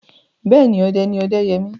Bẹ́ẹ̀ni, ọdẹ ni Ọdẹ́yẹmí.